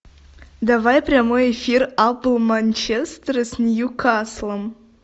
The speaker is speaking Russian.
давай прямой эфир апл манчестера с ньюкаслом